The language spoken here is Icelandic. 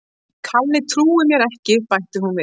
Kalli trúir mér ekki bætti hún við.